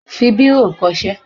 fi bírò kọ ṣé!